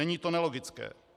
Není to nelogické.